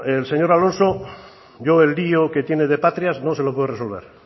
el señor alonso yo el lio que tiene de patrias no se lo puedo resolver